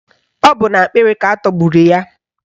Ọ bụ n'akpịrị ka atọgburu ya.